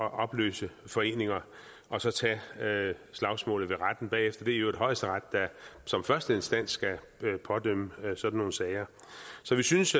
at opløse foreninger og så tage slagsmålet i retten bagefter det er i øvrigt højesteret der som første instans skal pådømme i sådan nogle sager så vi synes